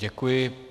Děkuji.